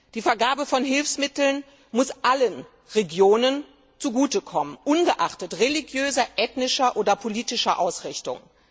Die Vergabe von Hilfsmitteln muss allen Regionen zugute kommen, ungeachtet religiöser, ethnischer oder politischer Ausrichtung.